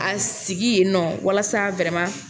A sigi yen nɔ walasa